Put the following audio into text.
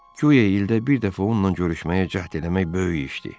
Göyə ildə bir dəfə onunla görüşməyə cəhd eləmək böyük işdir.